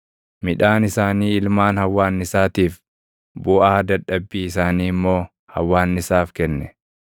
Midhaan isaanii ilmaan hawwaannisaatiif, buʼaa dadhabbii isaanii immoo hawwaannisaaf kenne.